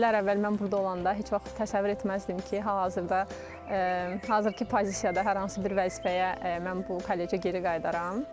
İllər əvvəl mən burda olanda heç vaxt təsəvvür etməzdim ki, hal-hazırda hazırki pozisiyada hər hansı bir vəzifəyə mən bu kollecə geri qayıdaram.